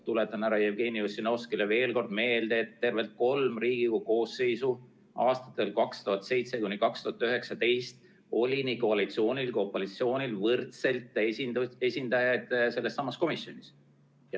Tuletan härra Jevgeni Ossinovskile veel kord meelde, et tervelt kolm Riigikogu koosseisu, aastatel 2007–2019, oli nii koalitsioonil kui ka opositsioonil võrdselt esindajaid sellessamas komisjonis.